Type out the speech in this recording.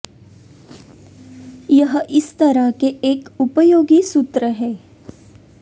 यह इस तरह के एक उपयोगी और मूत्र है